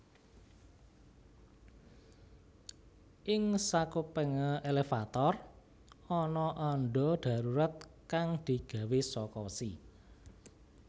Ing sakupenge elevator ana andha dadurat kang digawe saka wesi